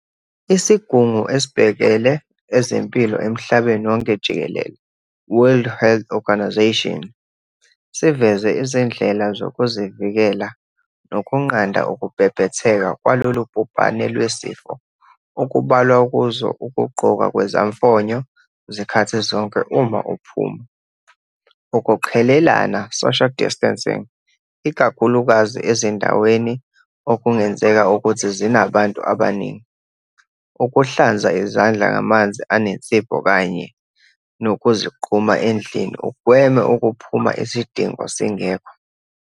Isigungu esibhekele ezempilo emhlabeni wonke jikelele, world health organisation, siveze izindlela zokuvikela nokunqanda ukubhebhetheka kwalolubhubhane lwesifo okubalwa kuzo ukugqoka kwezamfonyo zikhathi zonke uma uphuma, ukuqhelelana, social distancing, ikakhulukazi ezindaweni okungenzeka ukuthi zinabantu abaningi, ukuhlanza izandla ngamanzi anensipho kanye nokuzigquma endlini ugweme ukuphuma isidingo singekho.